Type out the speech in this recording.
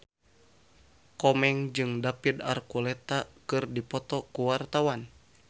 Komeng jeung David Archuletta keur dipoto ku wartawan